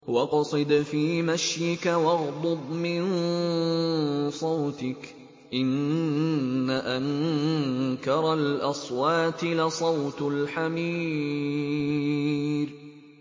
وَاقْصِدْ فِي مَشْيِكَ وَاغْضُضْ مِن صَوْتِكَ ۚ إِنَّ أَنكَرَ الْأَصْوَاتِ لَصَوْتُ الْحَمِيرِ